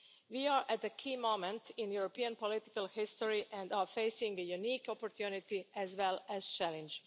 We are at a key moment in European political history and are facing a unique opportunity, as well as a challenge.